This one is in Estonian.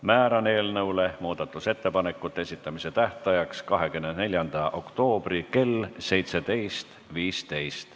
Määran eelnõu muudatusettepanekute esitamise tähtajaks 24. oktoobri kell 17.15.